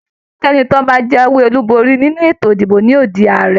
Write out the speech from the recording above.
Ẹnikẹ́ni tí ó bá jàwé olú bori nínú ètò ìdìbò ní yóò dii Ààrẹ.